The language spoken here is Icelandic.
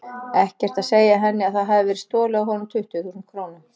Ekkert að segja henni að það hafi verið stolið af honum tuttugu þúsund krónum.